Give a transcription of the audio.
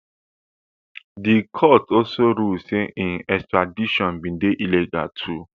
di court also rule say im extradition bin dey illegal too